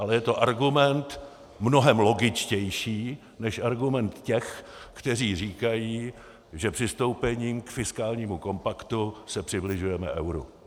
Ale je to argument mnohem logičtější než argument těch, kteří říkají, že přistoupením k fiskálnímu kompaktu se přibližujeme euru.